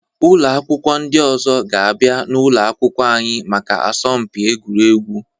Ụlọ akwụkwọ ndị ọzọ ga-abịa n'ụlọ akwụkwọ anyị maka asọmpi egwuregwu.